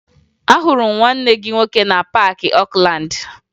Ahụrụ m nwanne gị nwoke na Paakị Okulaandị